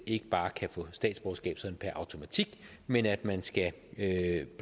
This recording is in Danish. ikke bare kan få statsborgerskab sådan per automatik men at man skal